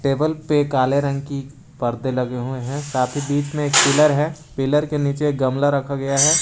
Table पे काले रंग की पर्दे लगे हुए हैं काफी बीच में एक पिलर है पिलर के नीचे गमला रखा गया है।